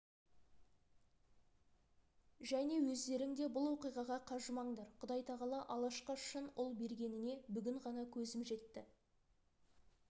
және өздерің де бұл оқиғаға қажымаңдар құдай тағала алашқа шын ұл бергеніне бүгін ғана көзім жетті